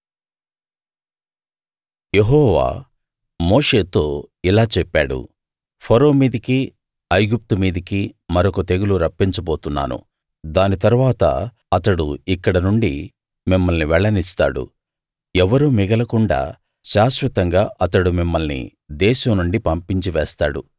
యెహోవా మోషేతో ఇలా చెప్పాడు ఫరో మీదికీ ఐగుప్తు మీదికీ మరొక తెగులు రప్పించబోతున్నాను దాని తరువాత అతడు ఇక్కడ నుండి మిమ్మల్ని వెళ్ళనిస్తాడు ఎవ్వరూ మిగలకుండా శాశ్వతంగా అతడు మిమ్మల్ని దేశం నుండి పంపించి వేస్తాడు